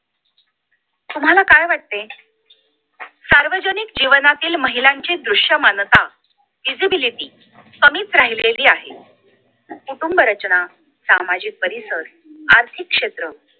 तुम्हाला काय वाटते सार्वजनिक जीवनातील महिलांची दृश्यमानता visibility कमीच राहिलेली आहे कुटुंबरचना सामाजिक परिसर आथिर्कक्षेत्र